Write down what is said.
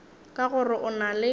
ka gore o na le